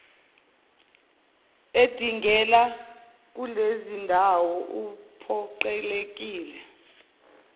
edingela kulezindawo uphoqelekile